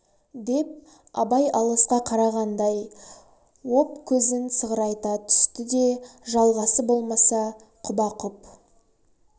деп абай алысқа қарағандай ооп көзін сығырайта түсті де жалғасы болмаса құба-құп